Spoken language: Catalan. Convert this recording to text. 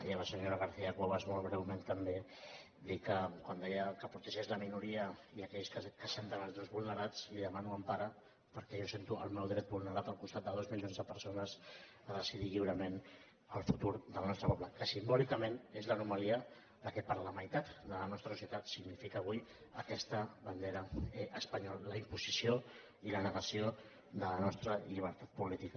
i a la senyora garcia cuevas molt breument també dir li que quan deia que protegeix la minoria i aquells que es senten els drets vulnerats li demano empara perquè jo sento el meu dret vulnerat al costat de dos milions de persones a decidir lliurement el futur del nostre poble que simbòlicament és l’anomalia que per a la meitat de la nostra societat significa avui aquesta bandera espanyola la imposició i la negació de la nostra llibertat política